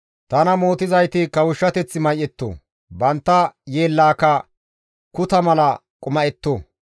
Tana mootizayti kawushshateth may7etto; bantta yeellaaka kuta mala quma7etto.